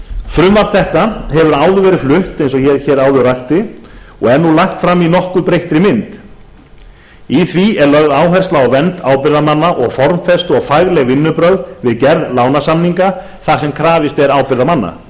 frumvarp þetta hefur áður verið flutt eins og ég hér áður rakti og er nú lagt fram í nokkuð breyttri mynd í því er lögð áhersla á vernd ábyrgðarmanna og formfestu og fagleg vinnubrögð við gerð lánasamninga þar sem krafist er ábyrgðarmanna